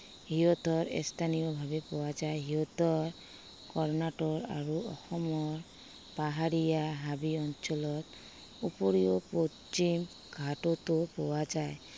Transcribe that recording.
সিহঁতৰ স্থানীয় ভাৱে পোৱা যায়। সিহঁতৰ কৰ্ণাটক আৰু অসমৰ পাহাৰীয়া হাবি অঞ্চলত উপৰিও পশ্চিম হাততো পাৱো যায়।